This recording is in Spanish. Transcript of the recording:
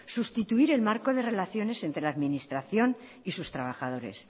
sustituir el marco de relaciones entre la administración y sus trabajadores